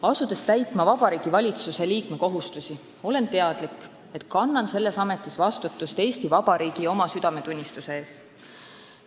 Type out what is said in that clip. Asudes täitma Vabariigi Valitsuse liikme kohustusi, olen teadlik, et kannan selles ametis vastutust Eesti Vabariigi ja oma südametunnistuse ees.